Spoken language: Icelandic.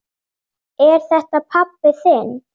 Er þetta pabbi þinn?